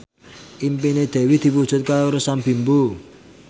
impine Dewi diwujudke karo Sam Bimbo